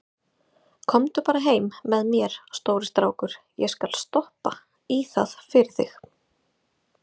Komdu bara heim með mér, stóri strákur, ég skal stoppa í það fyrir þig.